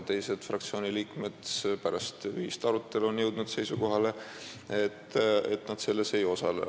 Teised fraktsiooni liikmed on pärast ühist arutelu jõudnud seisukohale, et nad selles ei osale.